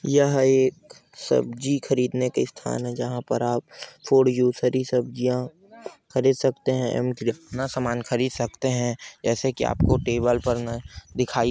यह एक सब्जी खरीदने के स्थान हैं जहाँ पर आप फॉर यू सर ही सब्जियाँ खरीद सकते हैं अपना सामान खरीद सकते हैं जैसा कि आप को टेबल पर न-- पर दिखाई--